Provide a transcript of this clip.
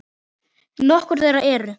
Nokkur þeirra eru